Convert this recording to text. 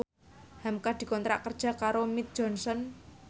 hamka dikontrak kerja karo Mead Johnson